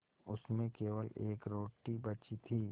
उसमें केवल एक रोटी बची थी